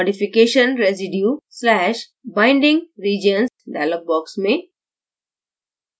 modificationresidue/bindingregion dialog box में: